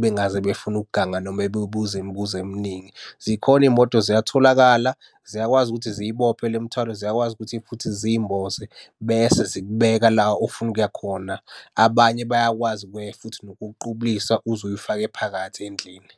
Bengaze befune ukuganga noma bebuze imibuzo eminingi. Zikhona iy'moto ziyatholakala, ziyakwazi ukuthi ziyibophe le mithwalo, ziyakwazi ukuthi futhi ziyimboze bese zikubeka la ofuna ukuya khona. Abanye bayakwazi ukuya futhi nokukuqukulisa uze uyifake phakathi endlini.